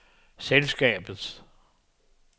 selskabets